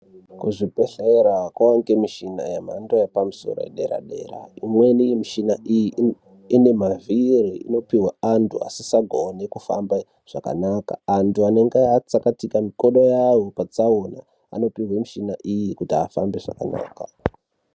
Kuzvibhedhlera kwaane mishina yemhando yepamusoro yedera-dera. Imweni mishina iyo ine mavhiri. Inopiwa antu asisagoni akufamba zvakanaka. Antu anenge atsakatika makodo avo patsaona anopiwa mishini iyi kuti ahambe zvakanaka.